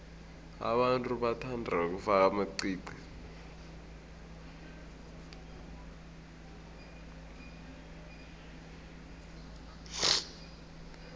abantu bathanda ukufaka amaqiqi